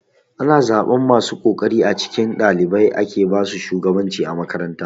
Ana zaɓan masu kokari a cikin ɗalibai ake basu shugabanci a makaranta.